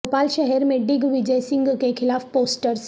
بھوپال شہر میں ڈگ وجئے سنگھ کے خلاف پوسٹرس